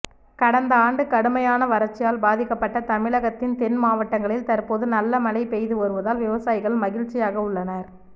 கடந்த ஆண்டு கடுமையான வறட்சியால் பாதிக்கப்பட்ட தமிழகத்தின் தென்மாவட்டங்களில் தற்போது நல்ல மழை பெய்து வருவதால் விவசாயிகள் மகிழ்ச்சியாக உள்ளனர்